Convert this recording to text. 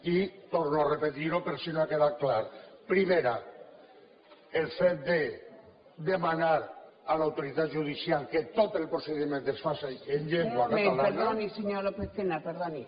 i torno a repetir ho per si no ha quedat clar primera el fet de demanar a l’autoritat judicial que tot el procediment es faça en llengua catalana